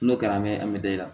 N'o kɛra an bɛ an bɛ da i la